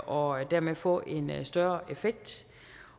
og dermed få en større effekt